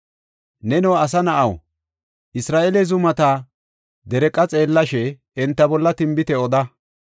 “Neno, asa na7aw, Isra7eele zumata dereeqa xeellashe, enta bolla tinbite oda.